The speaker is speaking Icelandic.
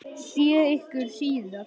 Sé ykkur síðar.